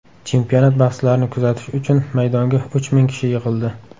Chempionat bahslarini kuzatish uchun maydonga uch ming kishi yig‘ildi.